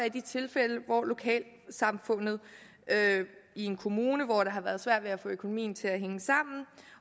i de tilfælde hvor lokalsamfundet i en kommune hvor det har været svært at få økonomien til at hænge sammen